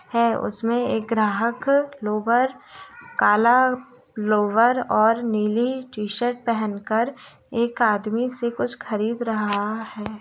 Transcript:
है उसमे एक ग्राहक लोवर काला लोवर और नीली टी-शर्ट पेहेन कर एक आदमी से कुछ खरीद रहा है।